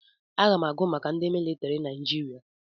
Aga m agụ maka ndị militiri Naijiria.